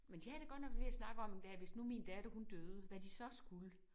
Men de havde da godt nok været ved at snakke om der hvis nu min datter hun døde hvad de så skulle